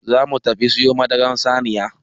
Za mu tafi siyo madaran saniya.